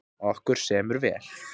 Okkur semur vel